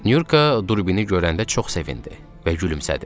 Nurka durbini görəndə çox sevindi və gülümsədi.